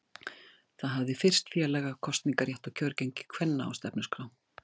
Það hafði fyrst félaga kosningarétt og kjörgengi kvenna á stefnuskrá.